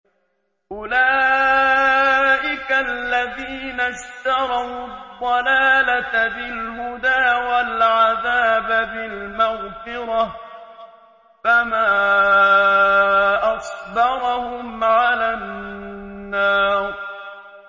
أُولَٰئِكَ الَّذِينَ اشْتَرَوُا الضَّلَالَةَ بِالْهُدَىٰ وَالْعَذَابَ بِالْمَغْفِرَةِ ۚ فَمَا أَصْبَرَهُمْ عَلَى النَّارِ